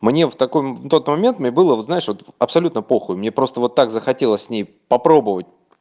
мне в таком на тот момент мне было вот знаешь вот абсолютно похуй мне просто вот так захотелось с ней попробовать